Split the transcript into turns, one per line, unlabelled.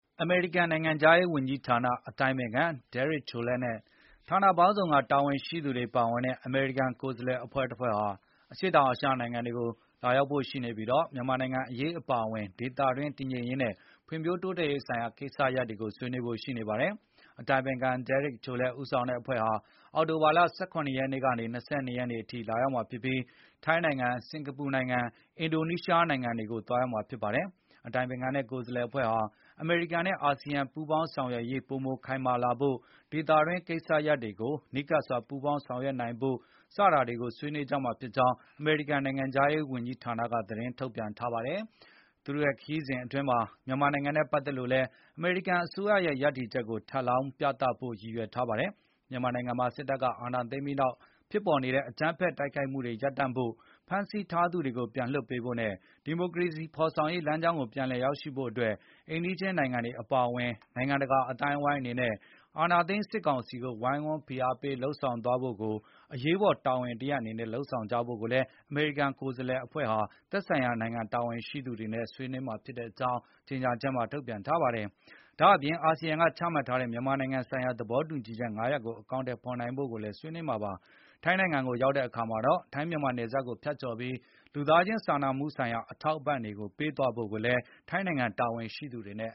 အမေရိကန်နိုင်ငံခြားရေးဝန်ကြီးဌာန အတိုင်ပင်ခံ Derek Chollet နဲ့ ဌာနပေါင်းစုံကတာဝန်ရှိသူတွေ ပါဝင်တဲ့ အမေရိကန်ကိုယ်စားလှယ်အဖွဲ့ဟာ အရှေ့အောင်အာရှနိုင်ငံတွေကိုလာရောက်ဖို့ရှိနေပြီး၊ မြန်မာနိုင်ငံအရေးအပါအဝင် ဒေသတွင်းတည်ငြိမ်ရေးနဲ့ ဖွံဖြိုးတိုးတက်ရေးဆိုင်ရာကိစ္စရပ်တွေကို ဆွေးနွေးဖို့ရှိနေပါတယ်။ အတိုင်ပင်ခံ Derek Chollet ဦးဆောင်တဲ့အဖွဲ့ဟာ အောက်တိုဘာလ ၁၇ ရက်နေ့ကနေ ၂၂ ရက်နေ့ အထိလာရောက်မှာဖြစ်ပြီး၊ ထိုင်း၊ စင်္ကာပူ နဲ့ အင်ဒိုနီးရှားနိုင်ငံတွေကိုသွားရောက်မှာဖြစ်ပါတယ်။ အတိုင်ပင်ခံနဲ့ကိုယ်စားလှယ်အဖွဲ့ဟာ အမေရိကန်နဲ့ အာဆီယံပူးပေါင်းဆောင်ရွက်ရေး ပိုမိုခိုင်မာလာ ဖို့ ဒေသတွင်းကိစ္စရပ်တွေကိုနီးကပ်စွာပူးပေါင်းဆောင်ရွက်နိုင်ဖို့စတာတွေကိုဆွေးနွေးကြမှာဖြစ်ကြောင်း အမေရိကန် နိုင်ငံခြားရေး ဝန်ကြီးဌာနက သတင်းထုတ်ပြန်ခဲ့တာပါ။ မြန်မာနိုင်ငံနဲ့ပတ်သက်လို့လည်း အမေရိကန်အစိုးရရဲ့ရပ်တည်ချက်ကို ထပ်လောင်းပြသဖို့ ရည်ရွယ်ထားတာ ဖြစ်ပါတယ်။ မြန်မာနိုင်ငံမှာ စစ်တပ်ကအာဏာသိမ်းပြီးနောက် ဖြစ်ပေါ်နေတဲ့ အကြမ်းဖက်မှုတွေကို ရပ်တန့်ဖို့၊ ဖမ်းဆီးထားသူတွေကိုပြန်လွှတ်ပေးဖို့နဲ့ ဒီမိုကရေစီဖေါ်ဆောင်ရေးလမ်းကြောင်းကို ပြန်လည်ရောက်ရှိဖို့တွက် အိမ်နီးခြင်းနိုင်ငံတွေအပါအဝင်၊ နိုင်ငံတကာအသိုင်းအဝိုင်း အနေနဲ့အာဏာ သိမ်းစစ်ကောင်စီကို ဝိုင်းဝန်းဖိအားပေးလုပ်ဆောင်သွားဖို့ကို အရေးပေါ်တာဝန်တရပ်အနေနဲ့ လုပ်ဆောင်ကြဖို့ကို အမေရိကန်ကိုယ်စားလှယ်အဖွဲ့နဲ့ သက်ဆိုင်ရာနိုင်ငံတာဝန်ရှိသူတွေဆွေး နွေးမှာ ဖြစ်ကြောင်းလည်း ထုတ်ပြန်ချက်မှာ ဖော်ပြထားပါတယ်။ ဒါ့အပြင် အာစီယံက ချမှတ်ထားတဲ့ မြန်မာနိုင်ငံဆိုင်ရာသဘောတူညီချက် ၅ ရပ်ကို အကောင်အထည် ဖေါ်နိုင်ဖို့ကိုလည်းဆွေးနွေးသွားမှာပါ။ ထိုင်းနိုင်ငံကိုရောက်တဲ့အခါ ထိုင်းမြန်မာနယ်စပ်ကိုဖြတ်ကြော်ပြီး လူသားချင်စာနာမှု အထောက်အပံ တွေပေးသွားဖို့ကိစ္စကိုလည်း ထိုင်းနိုင်ငံတာဝန်ရှိသူတွေနဲ့